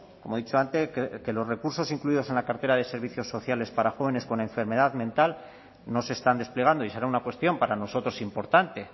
como he dicho antes que los recursos incluidos en la cartera de servicios sociales para jóvenes con enfermedad mental no se están desplegando y esa era una cuestión para nosotros importante